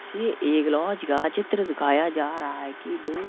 ये एक लाज का चित्र दिखाया जा रहा है कि दो --